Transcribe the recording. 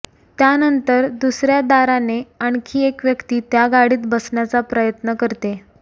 त्यानंतर दुसऱ्या दाराने आणखी एक व्यक्ती त्या गाडीत बसण्याचा प्रयत्न करते